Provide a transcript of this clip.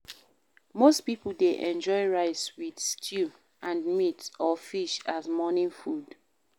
Most pipo dey enjoy rice with stew and meat or fish as morning food